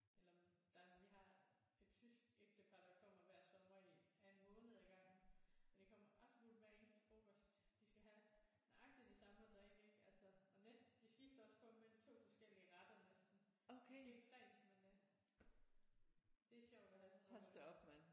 Eller men der er nogen vi har et tysk ægtepar der kommer hver sommer i af en måned ad gangen og det kommer absolut hver eneste frokost de skal have nøjagtig det samme at drikke ikke altså og næste de skifter også kun mellem 2 forskellige retter næsten måske 3 men det er sjovt at have sådan nogen også